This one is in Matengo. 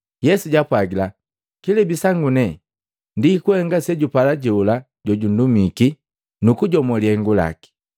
Yesu jaapwagila, “Kilebi sangu nenga ndi kuhenga sejupala jola jojundumiki nukujomo lihengu laki.